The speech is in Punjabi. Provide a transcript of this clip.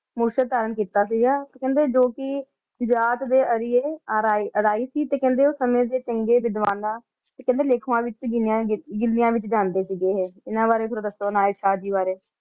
ਮੁਰਸ਼ਦ ਧਾਰਨ ਕੀਤਾ ਸੀਗਾ ਤੇ ਕੇਹ੍ਨ੍ਡੇ ਜੋ ਕੇ ਜਾਤ ਦੇ ਆਰ੍ਯੇ ਅਰੀਨ ਸੀ ਤੇ ਓਸ ਸਮੇ ਦੇ ਚੰਗੇ ਵਿਧਵਾਨਾ ਤੇ ਕੇਹ੍ਨ੍ਡੇ ਲੇਖ੍ਵਾਂ ਵਿਚ ਗੇਨਾਯ ਜਾਂਦੇ ਸੀਗੀ ਇਨਾਂ ਬਾਰੇ ਥੋਰਾ ਦਸੋ ਅਨਾਯਤ ਸ਼ਾਹ ਜੀ ਬਾਰੇ